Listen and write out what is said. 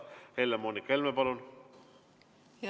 Helle-Moonika Helme, palun!